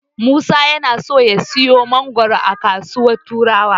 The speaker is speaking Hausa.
Musa yana so ya siyo mangoro a kasuwar Turawa.